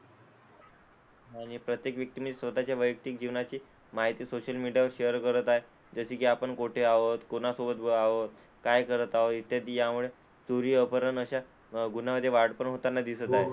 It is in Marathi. आणि प्रत्येक व्यक्तीने स्वतःच्या वैयक्तिक जीवनाची माहिती सोशल मीडियावर शेअर करत आहे, जसे की आपण कोठे आहोत, कोणा सोबत आहोत काय करत आहोत इत्यादी, यामुळे चोरी अपहरण अशा गुन्ह्यांमध्ये वाढपण होताना दिसत आहे.